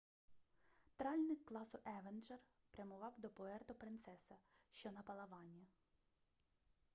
тральник класу евенджер прямував до пуерто-принцеса що на палавані